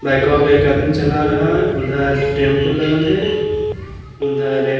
लइकवा के एक आदमी चल रहा है उधर टैम्पू लगल है उधर।